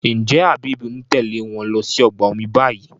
njé Habib ń Tèlé wón ló sì ọgbà omi bayí?